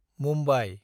Mumbai